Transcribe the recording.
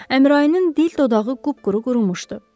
Əmraninin dil dodağı qupquru qurumuşdu.